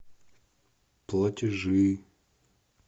платежи